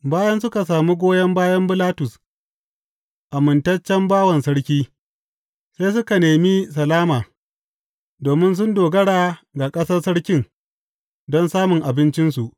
Bayan suka sami goyon bayan Bilastus, amintaccen bawan sarki, sai suka nemi salama, domin sun dogara ga ƙasar sarkin don samun abincinsu.